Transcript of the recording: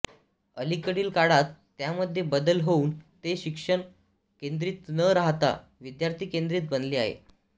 अलीकडील काळात त्यामध्ये बदल होवून ते शिक्षक केंद्रित न राहता विद्यार्थीकेंद्रित बनले आहे